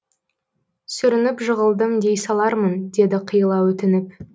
сүрініп жығылдым дей салармын деді қиыла өтініп